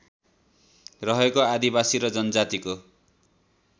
रहेको आदिवासी र जनजातिको